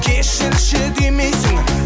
кешірші демейсің